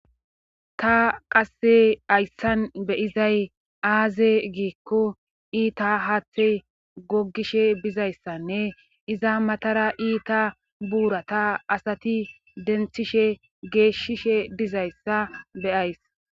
Ta hayssan qa be7izay aaze giikko iita haathe goggishe bizayssanne iza matara iza matara iita buurata asati denthishe geeshishe dizayssa be7ays.